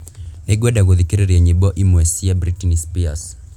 Nĩngwenda gũthikiriria nyĩmbo imwe cia Britney Spears